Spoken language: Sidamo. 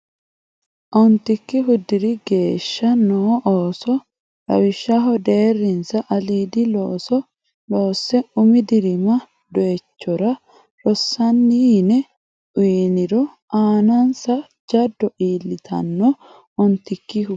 Ontikkihu diri geeshsha noo ooso Lawishshaho deerrinsa aliidi looso loosse umi dirimira doyichora rossanni yine uyniro aanansa jaddo iillitanno Ontikkihu.